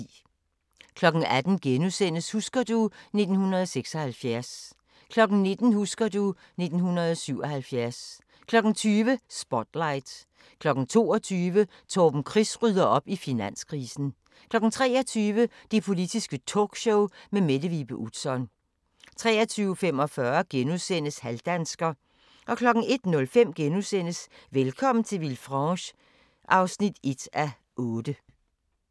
18:00: Husker du ... 1976 * 19:00: Husker du ... 1977 20:00: Spotlight 22:00: Torben Chris rydder op i finanskrisen 23:00: Det Politiske Talkshow med Mette Vibe Utzon 23:45: Halvdansker * 01:05: Velkommen til Villefranche (1:8)*